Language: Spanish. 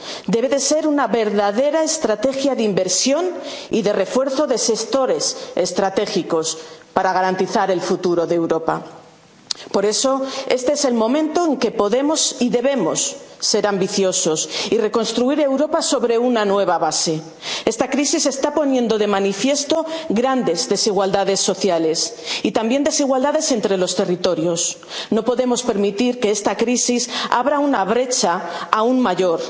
debe de ser una verdadera estrategia de inversión y de refuerzo de sectores estratégicos para garantizar el futuro de Europa. Por eso, este es el momento en que podemos y debemos ser ambiciosos y reconstruir Europa sobre una nueva base. Esta crisis está poniendo de manifiesto grandes desigualdades sociales, y también desigualdades entre los territorios. No podemos permitir que esta crisis abra una brecha